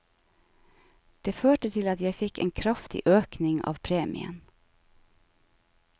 Det førte til at jeg fikk en kraftig økning av premien.